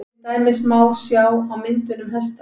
til dæmis má sjá á myndunum hesta